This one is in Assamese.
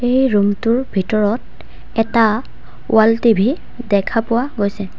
এই ৰুম টোৰ ভিতৰত এটা ৱাল টি_ভি দেখা পোৱা গৈছে।